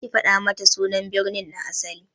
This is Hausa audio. Kar ki fada mata sunan birnin na asali!